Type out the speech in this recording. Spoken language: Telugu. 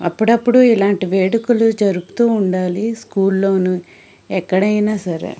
అప్పుడప్పుడు ఇలాంటి వేడుకలు జరుపుతూ ఉండాలి. ఊర్లోని ఎక్కడైనా సరే --